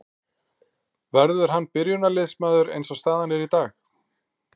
Verður hann byrjunarliðsmaður eins og staðan er í dag?